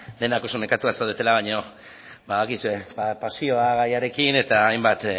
denak oso nekatuak zaudetela baino badakizue pasioa gaiarekin eta hainbat